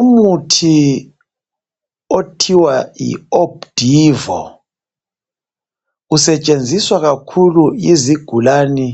Umuthi okuthiwa yiOpdivo usetshenziswa kakhulu yizigulane